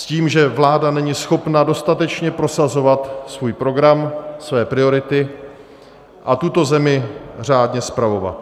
S tím, že vláda není schopna dostatečně prosazovat svůj program, své priority a tuto zemi řádně spravovat.